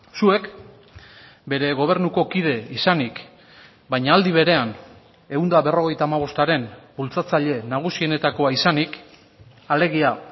zuek bere gobernuko kide izanik baina aldi berean ehun eta berrogeita hamabostaren bultzatzaile nagusienetakoa izanik alegia